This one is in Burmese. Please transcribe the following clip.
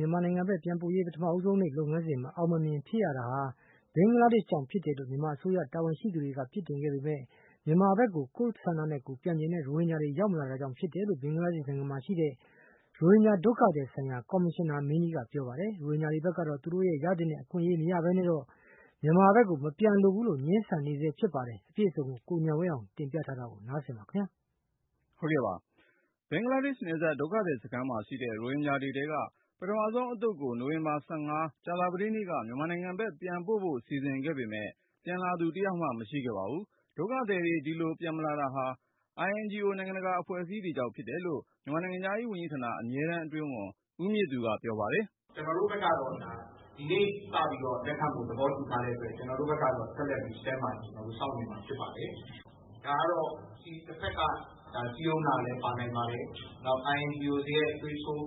မြန်မာနိုင်ငံဘက် ပြန်ပို့ရေး ပထမဆုံးနေ့ လုပ်ငန်းစဉ် မအောင်မမြင် ဖြစ်ရတာဟာ ဘင်္ဂလားဒေ့ရှ်ကြောင့်ဖြစ်တယ်လို့ မြန်မာအစိုးရတာဝန်ရှိသူတွေက အပြစ်တင်ခဲ့ ပေမယ့် မြန်မာဘက်ကို ကိုယ့် သဘောနဲ့ကိုယ်ပြန်ချင်တဲ့ ရိုဟင်ဂျာတွေ ရောက်မလာတာကြောင့် ဖြစ်တယ်လို့ ဘင်္ဂလားဒေ့ရှ်နိုင်ငံက ရိုဟင်ဂျာ ဒုက္ခသည်ဆိုင်ရာ ကော်မရှင်နာမင်းကြီးက ပြောပါ တယ်။ ရိုဟင်ဂျာတွေဘက်ကတော့ သူ့တို့ ရသင့်တဲ့ အခွင့်အရေး မရဘဲနဲ့တော့ မြန်မာဘက်ကို မပြန်လိုဘူးလို့ ငြင်းဆန်နေဆဲဖြစ်ပါတယ်။ အပြည့်စုံကိုတော့ ကိုဉာဏ်ဝင်းအောင်က တင်ပြထားပါတယ်။ ဘင်္ဂလားဒေ့ရှ်နယ်စပ် ဒုက္ခသည်စခန်းမှာရှိတဲ့ ရိုဟင်ဂျာတွေထဲက ပထမဆုံးအသုတ်ကို နိုဝင်ဘာ ၁၅ ကြာသပတေးနေ့က မြန်မာနိုင်ငံဘက် ပြန်ပို့ဖို့ စီစဉ်ခဲ့ပေမယ့် ပြန်လာသူ တယောက်မှ မရှိခဲ့ပါဘူး။ ဒုက္ခသည်တွေ ဒီလို ပြန်မလာတာဟာ INGO နိုင်ငံတကာအဖွဲ့အစည်းတွေကြောင့်လို့ မြန်မာနိုင်ငံခြားရေး ဝန်ကြီးဌာန အမြဲတမ်းအတွင်းဝန် ဦးမြင့်သူက ပြောပါတယ်။ “ကျနော်တို့ဘက်ကတော့ ဒီနေ့စပြီး လက်ခံဖို့သဘောတူထားတဲ့အတွက် ကျနော်တို့ဘက်ကတော့ ဆက်လက်ပြီး Stand-by စောင့်နေမှာ ဖြစ်ပါတယ်။ ဒါကတော့ တဘက်က စည်းရုံးထားတာလည်း ပါနိုင်ပါတယ်။ နောက် INGO တွေရဲ့ သွေးထိုး